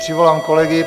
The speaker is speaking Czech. Přivolám kolegy.